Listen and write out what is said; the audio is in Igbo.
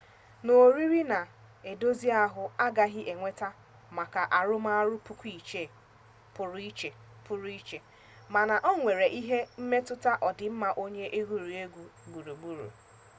sọ oriri na-edozi ahụ agaghị eweta maka arụmọrụ pụrụ iche mana onwere ike ịmetụta ọdịmma onye egwuruegwu gburugburu